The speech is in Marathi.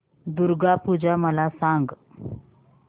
दुर्गा पूजा मला सांग